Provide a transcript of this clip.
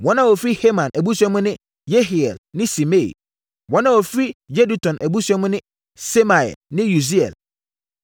Wɔn a wɔfiri Heman abusua mu ne: Yehiel ne Simei. Wɔn a wɔfiri Yedutun abusua mu ne: Semaia ne Usiel.